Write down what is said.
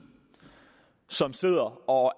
som sidder og